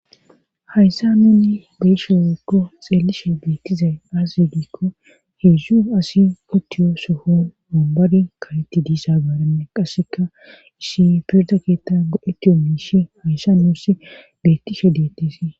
Hayssa nuunni beyshe wekko xeellishe beettizay as yedikko heedzdzu asi otiyo soho mumbadi kaletti diisaabaaranne qasseka issi pirda keetta go'etiyo miishi hayssa nuussi beettishe deettisii.